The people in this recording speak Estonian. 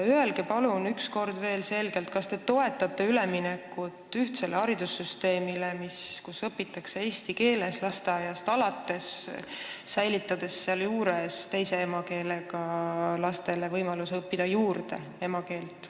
Öelge palun üks kord veel selgelt, kas te toetate üleminekut ühtsele haridussüsteemile, kus õpitakse eesti keeles lasteaiast alates, säilitades sealjuures teise emakeelega lastele võimaluse õppida juurde emakeelt.